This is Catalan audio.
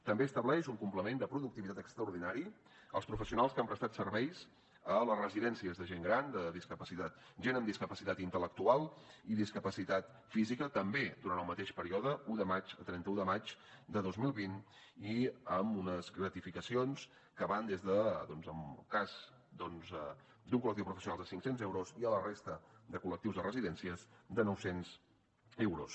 també estableix un complement de productivitat extraordinari als professionals que han prestat serveis a les residències de gent gran de gent amb discapacitat intel·lectual i discapacitat física també durant el mateix període d’un de març a trenta un de maig de dos mil vint i amb unes gratificacions que van des de doncs en el cas d’un col·lectiu de professionals cinc cents euros i a la resta de col·lectius a residències de noucents euros